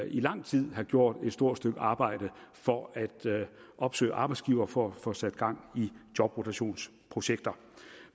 i lang tid have gjort et stort stykke arbejde for at opsøge arbejdsgivere for at få sat gang i jobrotationsprojekter